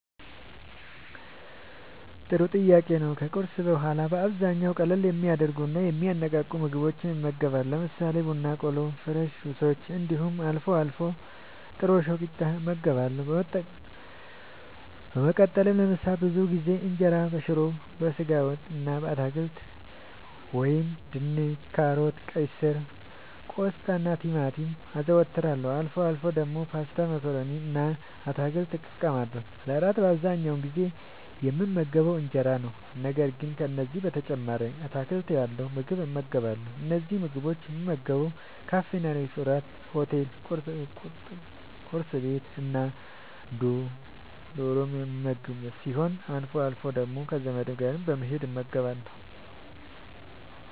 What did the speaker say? ጥሩ ጥያቄ ነዉ ከቁርስ በኋላ በአብዛኛዉ ቀለል የሚያደርጉና የሚያነቃቁ ምግቦችን እመገባለሁ። ለምሳሌ፦ ቡና በቆሎ፣ ፍረሽ ጁሶች እንዲሁም አልፎ አልፎ ጥረሾ ቂጣ እመገባለሁ። በመቀጠልም ለምሳ ብዙ ጊዜ እንጀራበሽሮ፣ በስጋ ወጥ እና በአትክልት( ድንች፣ ካሮት፣ ቀይስር፣ ቆስጣናቲማቲም) አዘወትራለሁ። አልፎ አልፎ ደግሞ ፓስታ መኮረኒ እና አትክልት እጠቀማለሁ። ለእራት በአብዛኛዉ የምመገበዉ እንጀራ ነዉ። ነገር ግን ከዚህም በተጨማሪ አትክልት ያለዉ ምግብ እመገባለሁ። እነዚህን ምግቦች የምመገበዉ ካፌናሬስቶራንት፣ ሆቴል፣ ቁርስ ቤት፣ እና ዶርም የምመገብ ሲሆን አልፎ አልፎ ደግሞ ዘመድ ጋር በመሄድ እመገባለሁ።